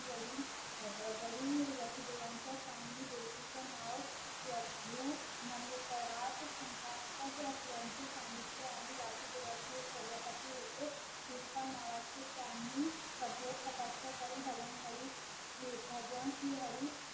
तिचा नाव प्रभू मनोतरात शंकास्पद असल्याचे सांगलीतले आणि वासुदेवाचे प्रजापती होते कृपा नवाचे त्यानी कठोर तपस्या करून भगवान हरी श्री भगवान श्री हरी